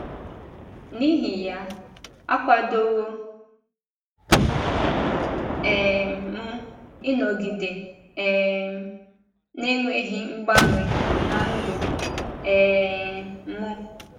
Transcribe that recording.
N’ihi ya, akwadowo um m ịnọgide um na - enweghị mgbanwe ná ndụ um m.